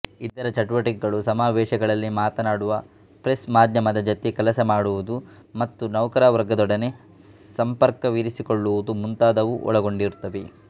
ಇದರ ಚಟುವಟಿಕೆಗಳು ಸಮಾವೇಶಗಳಲ್ಲಿ ಮಾತನಾಡುವುದು ಪ್ರೆಸ್ ಮಾಧ್ಯಮದ ಜತೆ ಕೆಲಸ ಮಾಡುವುದು ಮತ್ತು ನೌಕರವರ್ಗದೊಡನೆ ಸಂಪರ್ಕವಿರಿಸಿಕೊಳ್ಳುವುದು ಮುಂತಾದವನ್ನು ಒಳಗೊಂಡಿರುತ್ತವೆ